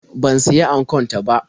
Ban siya ankon ta ba.